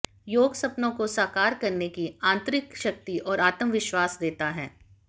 योग सपनों को साकार करने की आंतरिक शक्ति और आत्मविश्वास देता है